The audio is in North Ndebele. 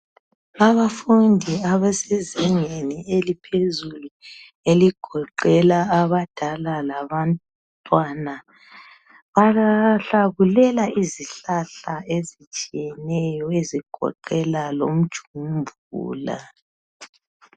Abafundi abasezingeni eliphezulu eligoqela abadala labantwana, bahlakulela izihlahla ezitshiyeneyo ezigoqela lomjumvula.